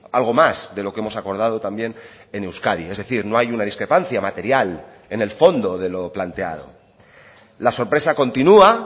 algo más de lo que hemos acordado también en euskadi es decir no hay una discrepancia material en el fondo de lo planteado la sorpresa continúa